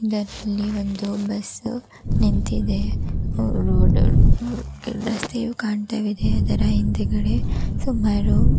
ನಲ್ಲಿ ಒಂದು ಬಸ್ಸು ನಿಂತಿದೆ ಅವರು ಓಡಾಡ್ತಿರುವ ರಸ್ತೆಯು ಕಾಣ್ತಾವಿದೆ ಅದರ ಹಿಂದುಗಡೆ ಸುಮಾರು --